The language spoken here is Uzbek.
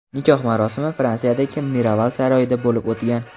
Nikoh marosimi Fransiyadagi Miraval saroyida bo‘lib o‘tgan.